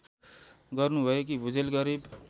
गर्नुभएकी Bhujel Garib